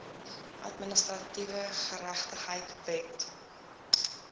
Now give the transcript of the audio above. administratiewe geregtigheid wet